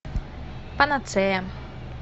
панацея